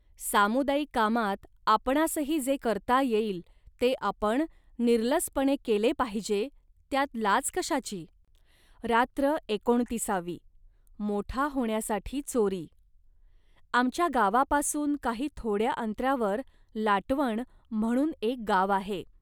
सामुदायिक कामात आपणांसही जे करता येईल, ते आपण निरलसपणे केले पाहिजे, त्यात लाज कशाची. रात्र एकोणतिसावी मोठा होण्यासाठी चोरी..आमच्या गावापासून काही थोड्या अंतरावर लाटवण म्हणून एक गाव आहे